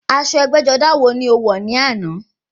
Aṣọ ẹgbẹ́-jọdá wo ni o wọ̀ ní àná?